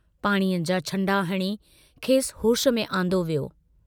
पाणीअ जां छंडा हणी खेसि होश में आंदो वियो।